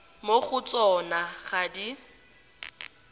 mo go tsona ga di